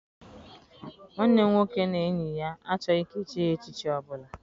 Nwanne m nwoke na enyi ya achọghị ka echie ha echichi ọbụla.